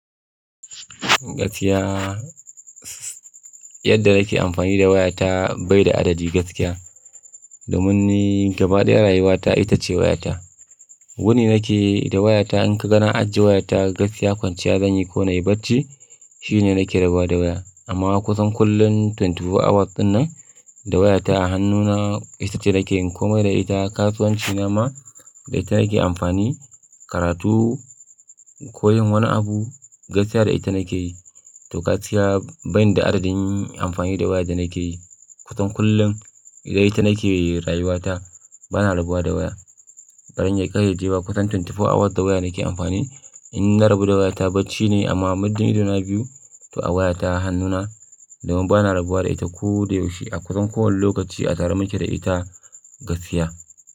Gaskiya, yadda nake amfani da wayata bai da adadi gaskiya. Domin gaba ɗaya rayuwata ita ce wayata. Wuni nake da wayata in ka ga na ajiye wayata gaskiya kwanciya zan yi ko na yi bacci shine nake rabuwa da waya. Amma kusan kullum awa ashirin da huɗu ɗinnan da wayata hannuna ita ce nake yin komai da ita. Kasuwanci na ma da ita nake amfani, karatu, koyon wani abu gaskiya da ita nake yi. To gaskiya ban da adadin amfani da waya da nake yi, kusan kullum idan ita nake yi rayuwata bana rabuwa da waya. Ɓarin ya kai sheji ba kusan awa ashirin da huɗu da waya nake amfani. In na rabu da wayata bacci ne amma muddin idona biyu ta wayata hannuna domin bana rabuwa da ita ko da yaushe a kusan kowane lokaci a tare muke da ita gaskiya.